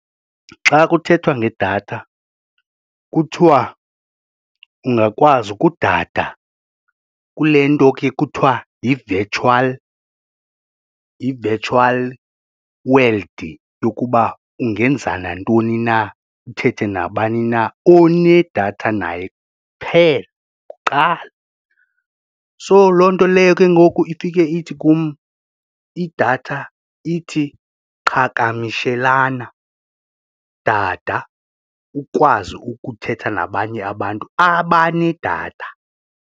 Xa kuthethwa ngedatha kuthiwa ungakwazi ukudada kule nto ke kuthiwa yi-virtual yi-virtual world yokuba ungenza nantoni na, uthethe nabani na onedatha naye kuphela kuqala. So loo nto leyo ke ngoku ifike ithi kum idatha ithi qhagamishelana, dada ukwazi ukuthetha nabanye abantu abane data.